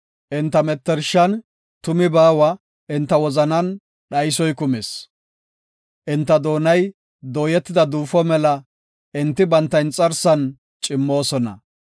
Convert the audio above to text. Enta mettershan tumi baawa; enta wozanan dhaysoy kumis. Enta doonay dooyetida duufo mela; enti banta inxarsan cimmoosona.